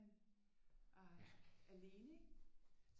Alene ikke